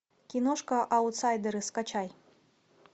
киношка аутсайдеры скачай